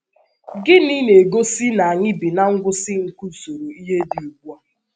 Gịnị na - egosi na anyị bi ná ngwụsị nke usoro ihe dị ugbu a?